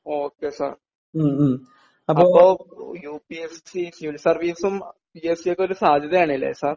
ഓ K sir അപ്പോ U P S C civil സർവീസും P S C ഒക്കെ ഒരു സാധ്യതയാണ് അല്ലേ സർ